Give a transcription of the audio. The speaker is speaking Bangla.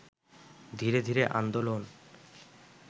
ধীরে ধীরে আন্দোলন